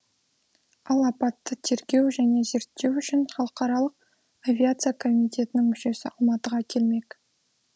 ал апатты тергеу және зерттеу үшін халықаралық авиация комитетінің мүшесі алматыға келмек